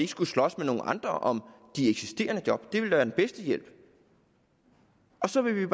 skulle slås med nogle andre om de eksisterende job det ville da være den bedste hjælp så vi vil